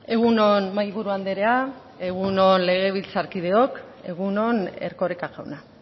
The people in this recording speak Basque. egun on mahaiburu andrea egun on legebiltzarkideok egun on erkoreka jauna